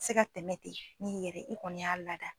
se ka tɛmɛ ten n'i yɛrɛ i kɔni y'a lada.